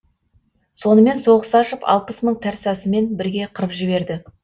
сонымен соғыс ашып алпыс мың тәрсасымен бірге қырып жіберді